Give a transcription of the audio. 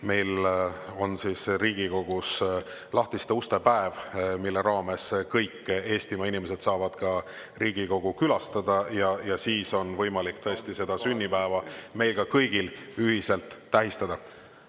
Meil on siis Riigikogus lahtiste uste päev, mille raames kõik Eestimaa inimesed saavad ka Riigikogu külastada ja siis on võimalik seda sünnipäeva meil kõigil ühiselt tähistada.